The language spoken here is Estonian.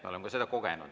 Me oleme ka seda kogenud.